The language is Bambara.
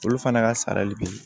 Olu fana ka sarali bɛ ye